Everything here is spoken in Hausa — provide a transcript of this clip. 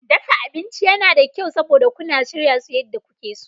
Dafa abinci yana da kyau, saboda kuna shirya su yadda kuke so.